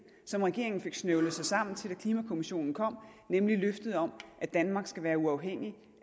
som regeringen fik snøvlet sig sammen til da klimakommissionen kom nemlig løftet om at danmark skal være uafhængig